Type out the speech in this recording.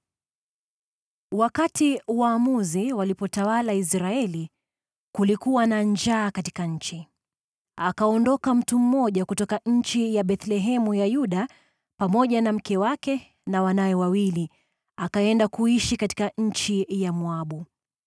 Wakati Waamuzi walipotawala Israeli, kulikuwa na njaa katika nchi. Mtu mmoja kutoka nchi ya Bethlehemu ya Yuda, pamoja na mke wake na wanawe wawili, akaenda kuishi katika nchi ya Moabu.